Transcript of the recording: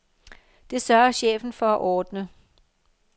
Det sørger chefen for at ordne.